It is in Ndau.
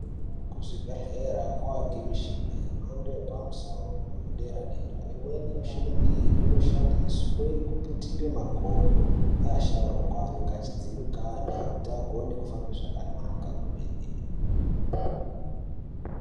Kuzvibhedhlera kwavanikwa michini yemhando yepamusoro yedera-dera. Imweni yemishina iyi inoshandiswe kuputira makodo paasharuka anenge achidzikana kuti agone kufamba zvakanaka kwemene.